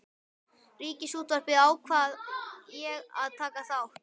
Ríkisútvarpinu ákvað ég að taka þátt.